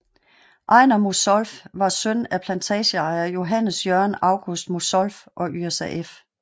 Ejner Mosolff var søn af plantageejer Johannes Jørgen August Mosolff og Yrsa f